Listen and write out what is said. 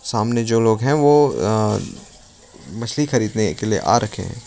सामने जो लोग हैं वो मछली खरीदने के लिए आ रखें है।